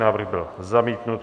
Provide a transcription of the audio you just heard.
Návrh byl zamítnut.